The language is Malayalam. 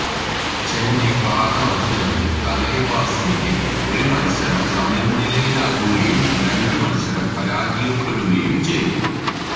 ചെന്നൈ പാദ മത്സരത്തിൽ തലൈവാസിൻെറ ഒരു മത്സരം സമനിലയാവുകയും രണ്ട് മത്സരം പരാജയപ്പെടുകയും ചെയ്തു